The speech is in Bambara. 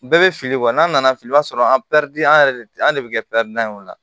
Bɛɛ bɛ fili n'an nana fili o b'a sɔrɔ an an yɛrɛ de an de bɛ kɛ ye o la